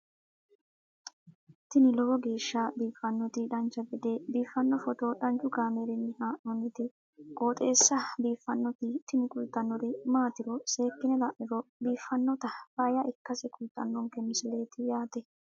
tini lowo geeshsha biiffannoti dancha gede biiffanno footo danchu kaameerinni haa'noonniti qooxeessa biiffannoti tini kultannori maatiro seekkine la'niro biiffannota faayya ikkase kultannoke misileeti yaate